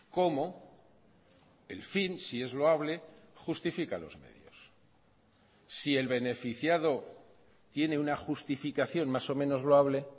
cómo el fin si es loable justifica los medios si el beneficiado tiene una justificación más o menos loable